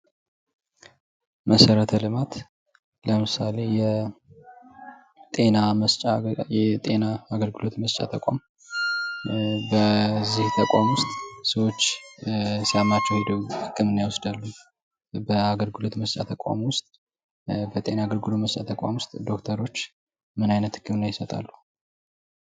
መሠረተ ልማት ለምሳሌ የጤና መስጫ ወይም የጤና መስጫ አገልግሎት መስጫ ተቋም በዚህ ተቋም ውስጥ ሰዎች ሲያማቸው ህክምና ይወስዳሉ ። በአገልግሎት መስጫ ተቃም ውስጥ ዜና አገልግሎት መስጫ ተቋም ውስጥ ዶክተሮች ምን አይነት ህክምና ይሰጣሉ ?